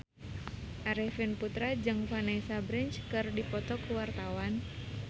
Arifin Putra jeung Vanessa Branch keur dipoto ku wartawan